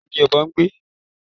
Orí igi ni ọ̀bọ ń gbé